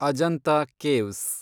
Ajanta caves